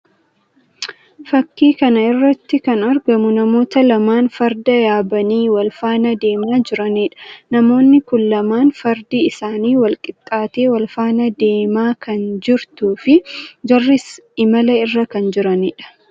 Fakkii kana irratti kan argamu namoota lamaan Fardaa yaabanii wal faana deemaa jiraniidha. Namoonni kun lamaan Fardi isaanii wal qixaattee wal faana deemaa kan jirtuu fi jarris imala irra kan jiraniidha.